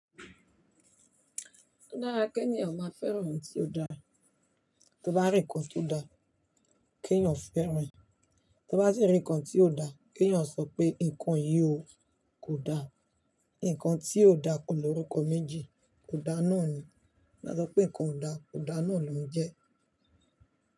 Dára kí ènìyàn máa fẹ́ràn ohun tó dára. Tí o bá rí ǹkan tó dáa, kí ènìyàn fẹ́ràn rẹ̀. Tí o bá sì rí nǹkan tí ò da, kí ènìyàn sọ pé "nǹkan yìí kò da." Nǹkan tí ò da kò lórúkọ méjì, kò da náà ni. Wọ́n á sọ pé ǹkan ò da, kò da náà ló ń jẹ́.